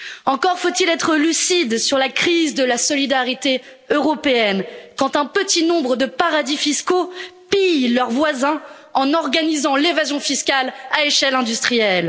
Encore faut il être lucide sur la crise de la solidarité européenne, quand un petit nombre de paradis fiscaux pillent leurs voisins en organisant l'évasion fiscale à échelle industrielle.